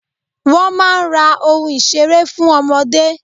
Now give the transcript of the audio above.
Wọ́n máa ń ra oun ìseré fún ọmọdé.